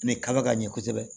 Ne ka ɲɛ kosɛbɛ